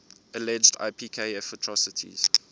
alleged ipkf atrocities